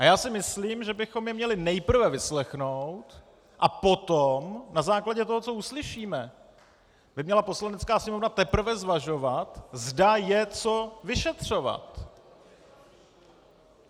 A já si myslím, že bychom je měli nejprve vyslechnout, a potom na základě toho, co uslyšíme, by měla Poslanecká sněmovna teprve zvažovat, zda je co vyšetřovat.